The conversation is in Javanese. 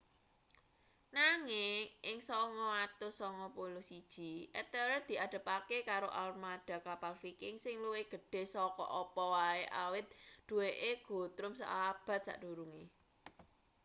nanging ing 991 ethelred diadepake karo armada kapal viking sing luwih gedhe saka apa wae awit duweke guthrum seabad sakdurunge